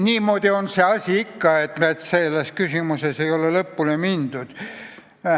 Nii et selles protokollimise küsimuses ei ole lõpuni mindud.